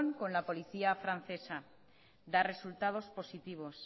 con la policía francesa da resultados positivos